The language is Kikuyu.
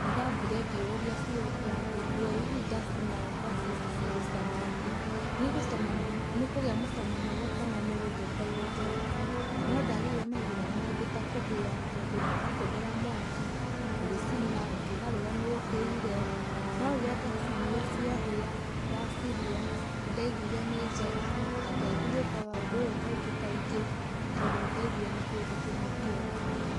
Nĩ ndambire ngĩyũria ciũria ngĩrigũo ĩĩ hihi ndacina ngwacĩ ici cigũcama atĩa. Nĩ ikũgĩa mũcamo mwega kana nĩ gũthũka igũthũka. Na no ndagĩire mathĩna mangĩ ta kũhĩa tondũ ũratũmĩra mwaki ũgĩcina ũkĩgarũra nĩ ũhĩire, no rĩrĩa ndacinire ciahĩa ndacirĩa nĩ ndaiguire na ngĩambi gwĩkaga ũndũ ũyũ kaingĩ kaingĩ tondũ nĩ ndaiguire nĩ kĩndũ kĩmwe kĩega mũno.